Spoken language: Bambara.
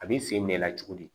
A b'i sen bɛ i la cogo di